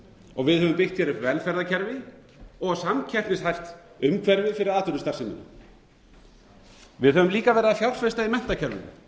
við höfum byggt hér upp velferðarkerfi og samkeppnishæft umhverfi fyrir atvinnustarfsemina við höfum líka verið að fjárfesta í menntakerfinu